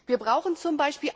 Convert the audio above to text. Wir brauchen z.